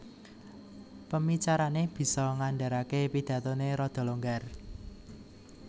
Pemicarané bisa ngandharaké pidathoné rada longgar